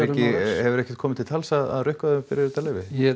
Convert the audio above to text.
hefur ekkert komið til tals að rukka þau um þetta leyfi